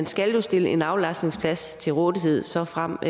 skal stilles en aflastningsplads til rådighed såfremt